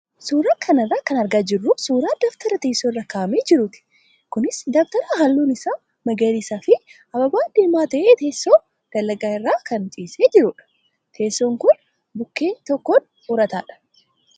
Suuraa kana irraa kan argaa jirru suuraa dabtara teessoo irra kaa'amee jiruuti. Kunis dabtara halluun isaa magariisaa fi ababaa diimaa ta'ee teessoo dalgaa irra kan ciisee jirudha. Teessoon kun bukkee tokkoon urataadha.